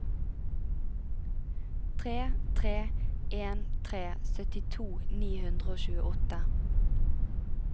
tre tre en tre syttito ni hundre og tjueåtte